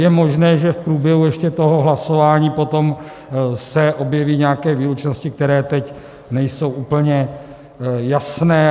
Je možné, že v průběhu ještě toho hlasování potom se objeví nějaké výlučnosti, které teď nejsou úplně jasné.